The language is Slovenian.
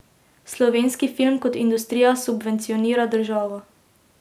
Slovenski film kot industrija subvencionira državo.